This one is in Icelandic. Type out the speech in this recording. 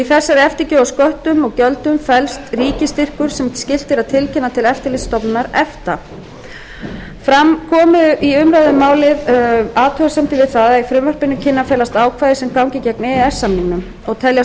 í þessari eftirgjöf á sköttum og gjöldum felst ríkisstyrkur sem skylt er að tilkynna til eftirlitsstofnunar efta fram komu í umræðum um málið athugasemdir við það að í frumvarpinu kunni að felast ákvæði sem ganga gegn e e s samningnum og teljast